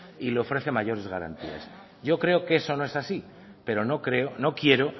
y le ofrecen mayores garantías yo creo que eso no es así pero no quiero